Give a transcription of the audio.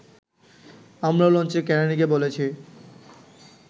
আমরাও লঞ্চের কেরানীকে বলেছি